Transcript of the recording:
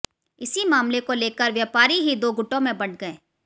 इसी मामले को लेकर व्यापारी ही दो गुटो में बंट गए